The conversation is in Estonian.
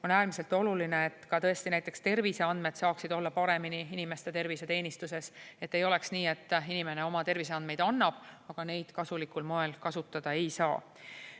On äärmiselt oluline, et näiteks terviseandmed saaksid olla paremini inimeste tervise teenistuses, et ei oleks nii, et inimene oma terviseandmeid annab, aga neid kasulikul moel kasutada ei saa.